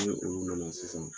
Mun ye olu nana sisan